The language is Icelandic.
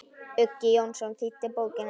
Uggi Jónsson þýddi bókina.